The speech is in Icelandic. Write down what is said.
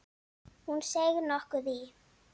Hún seig nokkuð í.